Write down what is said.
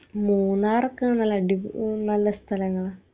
മൂന്നാറൊക്കെ നല്ല അടിപോ നല്ല സ്ഥലങ്ങളാ